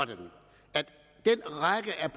jeg